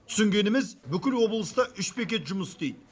түсінгеніміз бүкіл облыста үш бекет жұмыс істейді